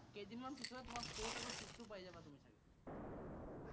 কেইদিনমান পিছতে তোমাৰ fourth আৰু fifth টো পাই যাবা তুমি চাগে।